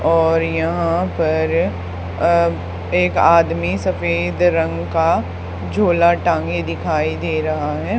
और यहां पर अ एक आदमी सफेद रंग का झोला टांगें दिखाई दे रहा है।